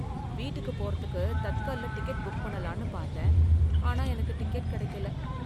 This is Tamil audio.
வீட்டுக்கு போறதுக்கு தட்கல்ல டிக்கெட் புக் பண்ணலாம்னு பாத்தேன், ஆனா எனக்கு டிக்கெட் கெடைக்கல.